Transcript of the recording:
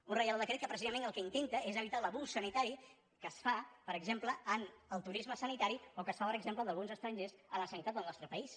un reial decret que precisament el que intenta és evitar l’abús sanitari que es fa per exemple amb el turisme sanitari o que es fa per exemple d’alguns estrangers a la sanitat del nostre país